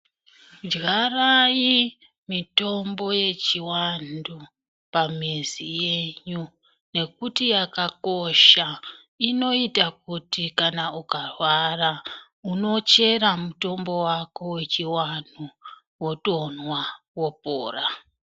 Dyarai mitombo yechivanthu pamizi yenyu nekuti yakakosha nekuti inoita kuti kana ukarwara unochera mutombo wako wechiwanhu wotomwa wopora.